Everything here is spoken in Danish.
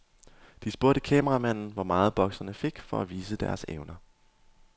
De spurgte kameramanden, hvor meget bokserne fik, for at vise deres evner.